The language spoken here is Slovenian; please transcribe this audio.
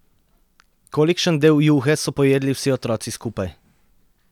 Kolikšen del juhe so pojedli vsi otroci skupaj?